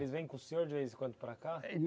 Eles vêm com o senhor de vez em quando para cá?